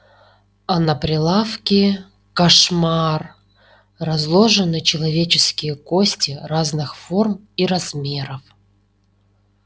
а на прилавке кошмар разложены человеческие кости разных форм и размеров